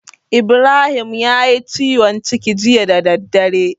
Ibrahim yayi ciwon ciki jiya da daddare.